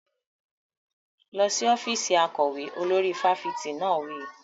Lọ sí ọ́fíìsì akọ̀wé! Olórí fáfitì náà wí.